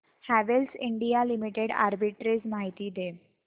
Havells India limited arbitrage माहिती दे